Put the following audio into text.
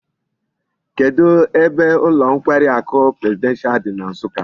Kedu ebe ulo nkwari aku presidential di na nsukka?